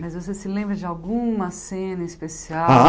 Mas você se lembra de alguma cena especial? Aham